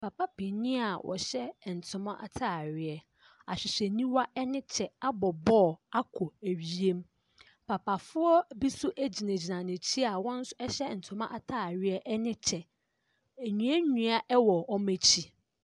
Papa panin a ɔhyɛ ntoma ataareɛ, ahwehwɛniwa ne kyɛ abɔ ball akɔ wiem. Papafoɔ bi nso gyinagyina n'akyi a wɔn nso hyɛ ntoma ataareɛ ne kyɛ. Nnua nnua wɔ wɔn akyi.